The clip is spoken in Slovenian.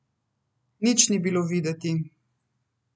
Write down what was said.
Nič ni bilo videti.